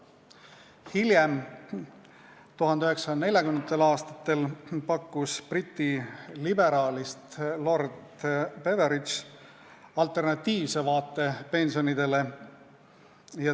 Hiljem, 1940. aastatel pakkus Briti liberaalist lord Beveridge välja alternatiivse vaate pensionile.